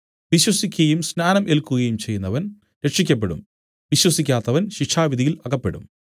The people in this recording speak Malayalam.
വിശ്വസിക്കയും സ്നാനം ഏല്ക്കുകയും ചെയ്യുന്നവൻ രക്ഷിയ്ക്കപ്പെടും വിശ്വസിക്കാത്തവൻ ശിക്ഷാവിധിയിൽ അകപ്പെടും